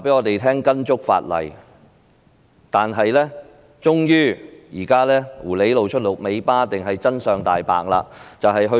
可是，現在狐狸終於露出了尾巴，又或者說真相大白了。